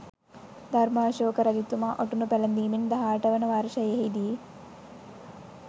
ධර්‍මාශෝක රජතුමා ඔටුනු පැළඳීමෙන් 18 වන වර්ෂයෙහිදී